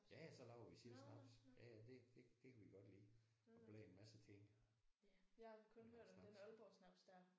Ja ja så laver vi selv snaps ja ja det det det kan vi godt lide og blande en masse ting i vores snaps